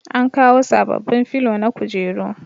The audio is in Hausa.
An kawo sabobbin filo na kujeru